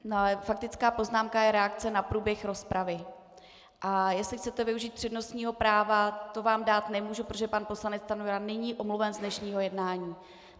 Faktická poznámka je reakce na průběh rozpravy, a jestli chcete využít přednostního práva, to vám dát nemůžu, protože pan poslanec Stanjura není omluven z dnešního jednání.